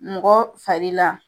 Mɔgɔ fari la